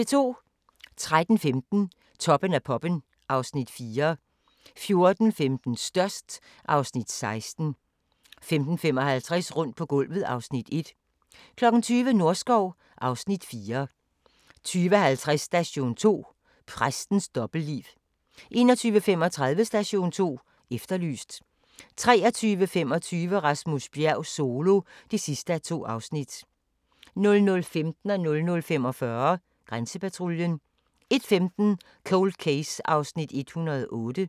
13:15: Toppen af poppen (Afs. 4) 14:15: Størst (Afs. 16) 15:55: Rundt på gulvet (Afs. 1) 20:00: Norskov (Afs. 4) 20:50: Station 2: Præstens dobbeltliv 21:35: Station 2 Efterlyst 23:25: Rasmus Bjerg Solo (2:2) 00:15: Grænsepatruljen 00:45: Grænsepatruljen 01:15: Cold Case (108:156)